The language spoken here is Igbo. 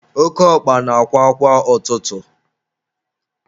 Oke ọkpa na-akwa kwa ụtụtụ.